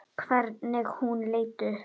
Hvernig hún leit upp.